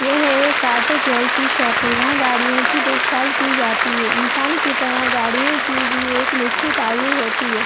यह एक auto care की शॉप है यहाँ गाड़ियों की देखभाल की जाती है इंसान की तरह गाड़ियों की भी एक निश्चित आयु होती है।